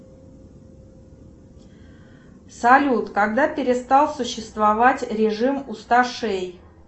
салют когда перестал существовать режим усташей